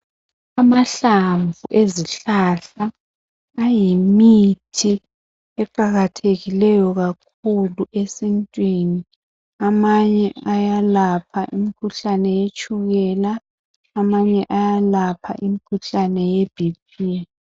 Amahlamvu ezihlahla ayimithi eqakathekileyo kakhulu esintwini , amanye ayalapha imkhuhlane yetshukela amanye ayalapha imkhuhlane ye BP